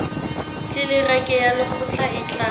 tlelereke ya lekgotla e tla